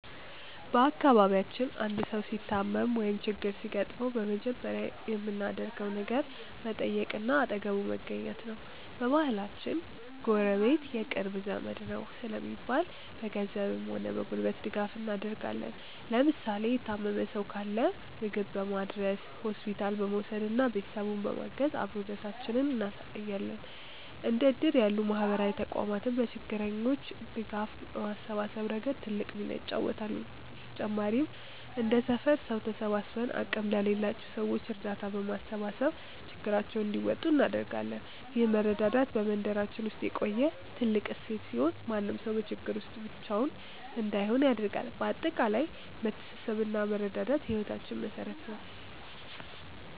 በአካባቢያችን አንድ ሰው ሲታመም ወይም ችግር ሲገጥመው በመጀመሪያ የምናደርገው ነገር መጠየቅና አጠገቡ መገኘት ነው። በባህላችን "ጎረቤት የቅርብ ዘመድ ነው" ስለሚባል፣ በገንዘብም ሆነ በጉልበት ድጋፍ እናደርጋለን። ለምሳሌ የታመመ ሰው ካለ ምግብ በማድረስ፣ ሆስፒታል በመውሰድና ቤተሰቡን በማገዝ አብሮነታችንን እናሳያለን። እንደ እድር ያሉ ማህበራዊ ተቋማትም ለችግረኞች ድጋፍ በማሰባሰብ ረገድ ትልቅ ሚና ይጫወታሉ። በተጨማሪም እንደ ሰፈር ሰው ተሰባስበን አቅም ለሌላቸው ሰዎች እርዳታ በማሰባሰብ ችግራቸውን እንዲወጡ እናደርጋለን። ይህ መረዳዳት በመንደራችን ውስጥ የቆየ ትልቅ እሴት ሲሆን፣ ማንም ሰው በችግር ጊዜ ብቻውን እንዳይሆን ያደርጋል። በአጠቃላይ መተሳሰብና መረዳዳት የህይወታችን መሠረት ነው።